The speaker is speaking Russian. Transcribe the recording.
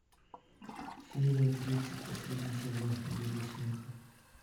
серия тридцать последний сезон лига смеха